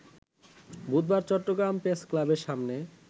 বুধবার চট্টগ্রাম প্রেসক্লাবের সামনে